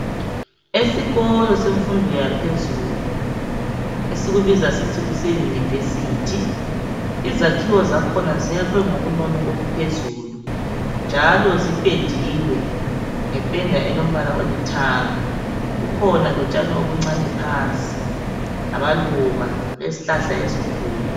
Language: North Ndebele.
Esikolo semfundo yaphezulu esikubiza sithi kuse Yunivesithi. Izakhiwo zakhona ziyakhwe ngobunono obuphezulu njalo zipendiwe ngependa elombala olithanga. Kukhona lotshani obuncane phansi lamaluba lezihlahla ezinkulu.